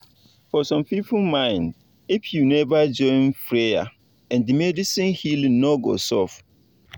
for some people mind if you never join prayer and medicine healing no go sub